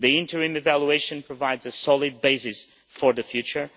The interim evaluation provides a solid basis for the future.